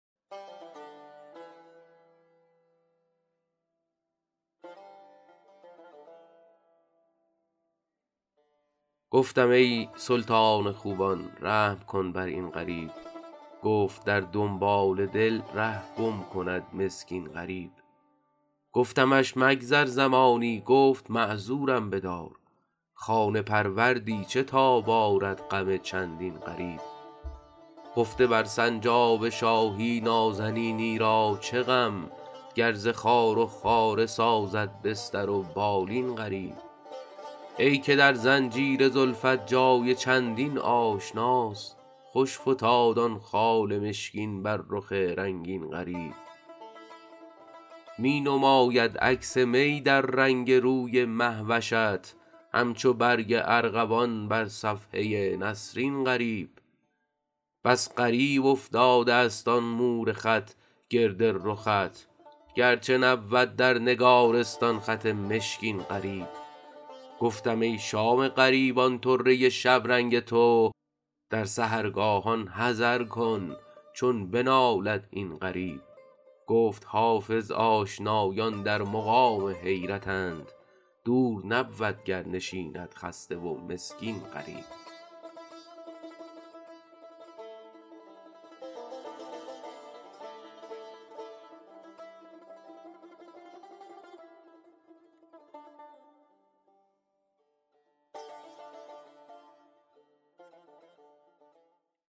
گفتم ای سلطان خوبان رحم کن بر این غریب گفت در دنبال دل ره گم کند مسکین غریب گفتمش مگذر زمانی گفت معذورم بدار خانه پروردی چه تاب آرد غم چندین غریب خفته بر سنجاب شاهی نازنینی را چه غم گر ز خار و خاره سازد بستر و بالین غریب ای که در زنجیر زلفت جای چندین آشناست خوش فتاد آن خال مشکین بر رخ رنگین غریب می نماید عکس می در رنگ روی مه وشت همچو برگ ارغوان بر صفحه نسرین غریب بس غریب افتاده است آن مور خط گرد رخت گرچه نبود در نگارستان خط مشکین غریب گفتم ای شام غریبان طره شبرنگ تو در سحرگاهان حذر کن چون بنالد این غریب گفت حافظ آشنایان در مقام حیرتند دور نبود گر نشیند خسته و مسکین غریب